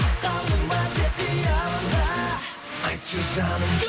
қалдың ба тек қиялымда айтшы жаным